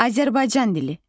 Azərbaycan dili.